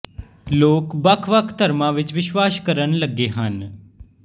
ਲੋਕ ਵੱਖ ਵੱਖ ਧਰਮਾਂ ਵਿਚ ਵਿਸ਼ਵਾਸ ਕਰਨ ਲੱਗੇ ਹਨ